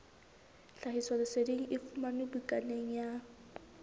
tlhahisoleseding e fumanwe bukaneng ya